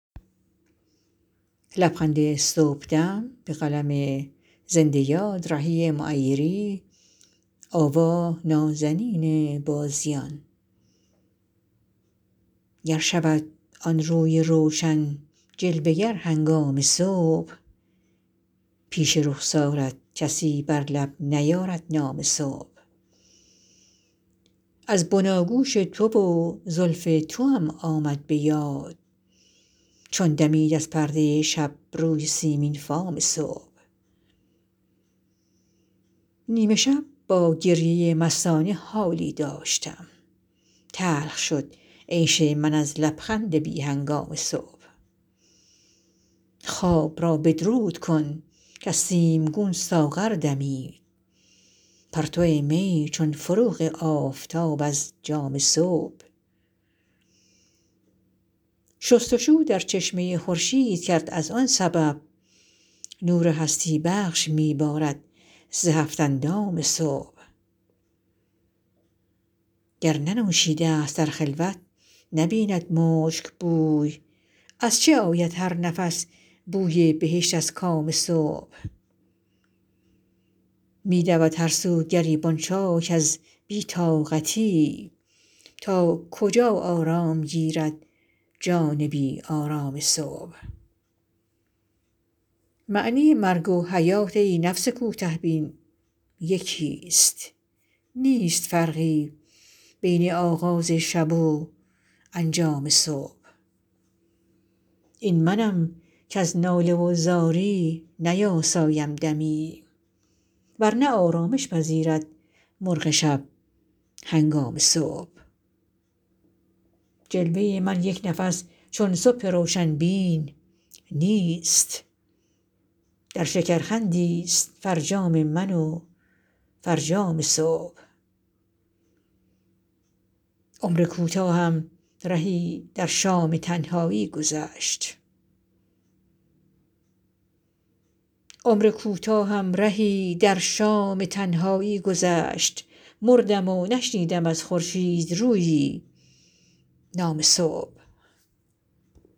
گر شود آن روی روشن جلوه گر هنگام صبح پیش رخسارت کسی بر لب نیارد نام صبح از بناگوش تو و زلف توام آمد به یاد چون دمید از پرده شب روی سیمین فام صبح نیم شب با گریه مستانه حالی داشتم تلخ شد عیش من از لبخند بی هنگام صبح خواب را بدرود کن کز سیمگون ساغر دمید پرتو می چون فروغ آفتاب از جام صبح شست وشو در چشمه خورشید کرد از آن سبب نور هستی بخش می بارد ز هفت اندام صبح گر ننوشیده است در خلوت نبید مشک بوی از چه آید هر نفس بوی بهشت از کام صبح می دود هرسو گریبان چاک از بی طاقتی تا کجا آرام گیرد جان بی آرام صبح معنی مرگ و حیات ای نفس کوته بین یکیست نیست فرقی بین آغاز شب و انجام صبح این منم کز ناله و زاری نیاسایم دمی ورنه آرامش پذیرد مرغ شب هنگام صبح جلوه من یک نفس چون صبح روشن بیش نیست در شکرخندی است فرجام من و فرجام صبح عمر کوتاهم رهی در شام تنهایی گذشت مردم و نشنیدم از خورشیدرویی نام صبح